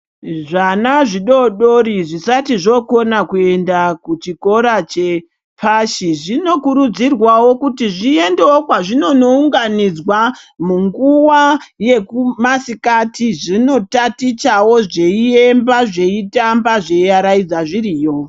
Zvaana zvidori dori zvisati zvikona kuenda kuchikora chepashi zvinokurudzirwawo kuti zviendewo kwazvinono unganidzwa munguva yemasikati zvinonotatichawo ,zviyiiimba ,zvitamba, zviyaraidzwa zviriyo